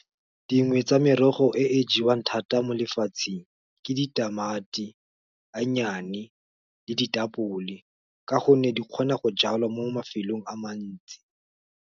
Dingwe tsa merogo e e jewang thata mo lefatsheng ke ditamati, a nnyane, le ditapole, ka gonne di kgona go jalwa mo mafelong a mantsi.